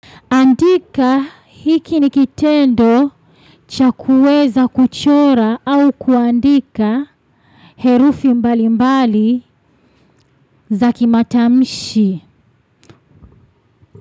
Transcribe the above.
Andika, hiki nikitendo cha kuweza kuchora au kuandika herufi mbali mbali za kimatamshi.